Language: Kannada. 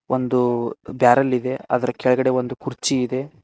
ಒಂದು ಬ್ಯಾರೆಲ್ ಇದೆ ಅದರ ಕೆಳಗೆಡೆ ಒಂದು ಕುರ್ಚಿ ಇದೆ.